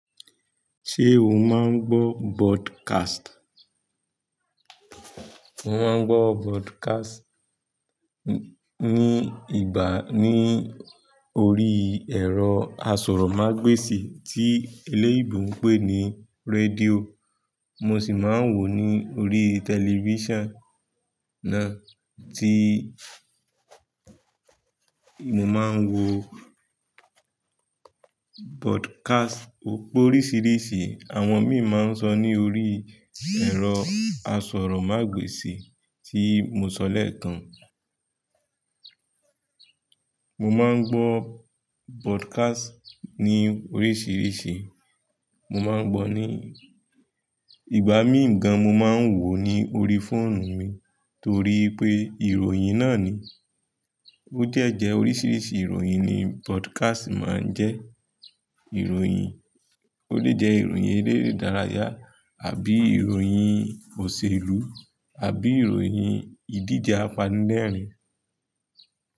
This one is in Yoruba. Ṣé o máa ń gbọ́ broadcast? Mo máa ń gbọ́ broadcast ní ìgbà ní orí ẹ̀rọ asọ̀rọ̀mágbèsì tí eléyinbo ń pè ní rédíò. Mo sì máa ń wò ní orí television náà tí mo máa ń wo broadcast ò pe oríṣìíríṣìí. Àwọn míì máa ń sọ ní orí ẹ̀rọ asọ̀rọ̀mágbèsì tí mo sọ lẹ̀ekan. Mo máa ń gbọ́ broadcast ní oríṣìíríṣìí. Mo máa ń gbọ́ ní ìgbà míì gan, mo máa ń wò ó ní orí fóònù mi torí wipé ìròyìn náà ni. Ó de jẹ̀ oríṣìíríṣìí ìròyìn ni broadcast máa ń jẹ́. Ìròyìn, ó lè jẹ́ ìròyìn elérè idárayà àbí ìròyìn òṣèlú àbí ìròyìn ìdíje apanilẹ́rìn-ín.